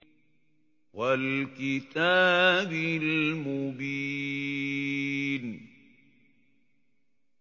وَالْكِتَابِ الْمُبِينِ